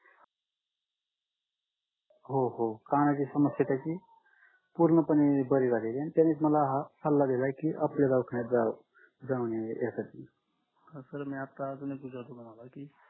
हो हो कानाची समस्या त्याची पूर्णपणे बरी झालेली त्यानेच मला हा सल्ला दिलाय की अक्षय दवाखान्यात जा जाम्हणे यासाठी